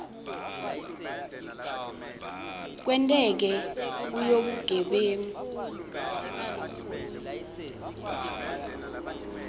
lekwenteke kuyo bugebengu